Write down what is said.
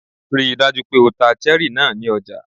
Ríi dájú pé o ta cherry náà ní ọjà!